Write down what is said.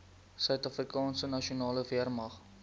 suidafrikaanse nasionale weermag